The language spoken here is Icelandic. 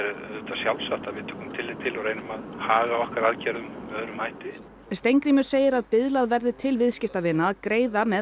sjálfsagt að við tökum tillit til og reynum að haga okkar aðgerðum með öðrum hætti Steingrímur segir að biðlað verði til viðskiptavina að greiða með